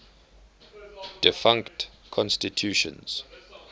defunct constitutions